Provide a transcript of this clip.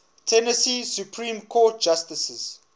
tennessee supreme court justices